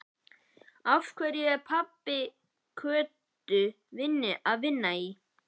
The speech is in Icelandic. Af hverju er pabbi Kötu að vinna í